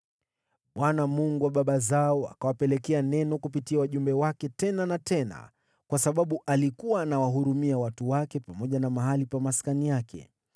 Bwana , Mungu wa baba zao, akawapelekea neno kupitia wajumbe wake tena na tena, kwa sababu alikuwa anawahurumia watu wake pamoja na mahali pa maskani yake.